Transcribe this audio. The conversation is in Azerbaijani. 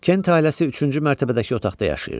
Kent ailəsi üçüncü mərtəbədəki otaqda yaşayırdı.